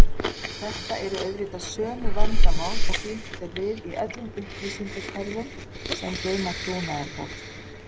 Þetta eru auðvitað sömu vandamál og glímt er við í öllum upplýsingakerfum sem geyma trúnaðargögn.